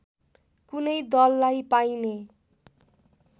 कुनै दललाई पाइने